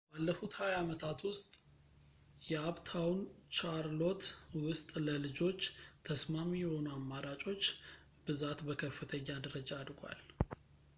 ባለፉት 20 ዓመታት ውስጥ በአፕታውን ቻርሎት ውስጥ ለልጆች ተስማሚ የሆኑ አማራጮች ብዛት በከፍተኛ ደረጃ አድጓል